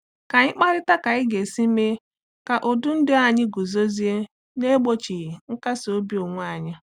Ka anyị kparịta ka anyị ga-esi mee ka ụdị ndụ anyị guzozie n'egbochighị nkasi obi onwe anyị.